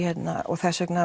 þess vegna